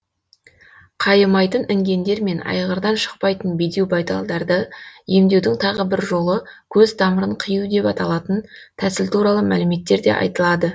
қайымайтын інгендер мен айғырдан шықпайтын бедеу байталдарды емдеудің тағы бір жолы көз тамырын қию деп аталатын тәсіл туралы мәліметтерде айтылады